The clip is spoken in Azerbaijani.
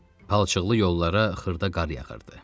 Palçıqlı yollara xırda qar yağırdı.